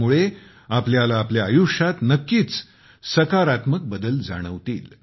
त्यामुळे आपल्याला आपल्या आयुष्यात नक्कीच सकारात्मक बदल जाणवतील